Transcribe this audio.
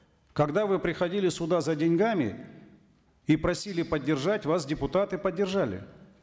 когда вы приходили сюда за деньгами и просили поддержать вас депутаты поддержали